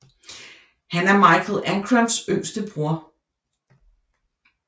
Han er Michael Ancrams yngste bror